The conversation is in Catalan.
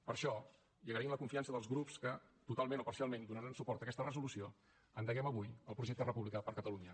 per això i agraint la confiança dels grups que totalment o parcialment donaran suport a aquesta resolució endeguem avui el projecte republicà per a catalunya